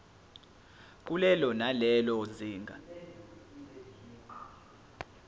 kulelo nalelo zinga